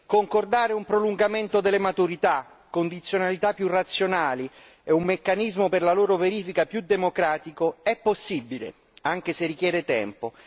Concordare un prolungamento delle maturità, condizionalità più razionali e un meccanismo per la loro verifica più democratico è possibile, anche se richiede tempo.